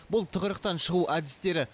бұл тығырықтан шығу әдістері